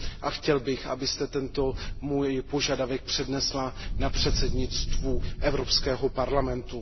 a chtěl bych, abyste tento můj požadavek přednesla na předsednictvu Evropského parlamentu.